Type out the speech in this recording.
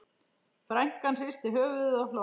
Frænkan hristi höfuðið og hló.